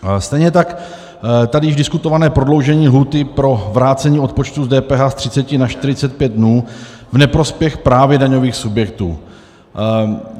Stejně tak tady již diskutované prodloužení lhůty pro vrácení odpočtu z DPH z 30 na 45 dnů v neprospěch právě daňových subjektů.